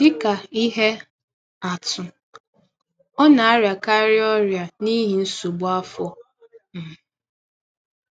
Dị ka ihe atụ, ọ “ na - arịakarị ” ọrịa n’ihi nsọgbụ afọ. um